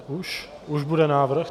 Už bude návrh?